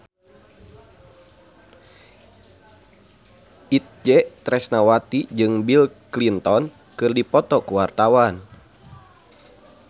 Itje Tresnawati jeung Bill Clinton keur dipoto ku wartawan